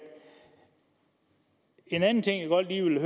en anden ting jeg godt lige vil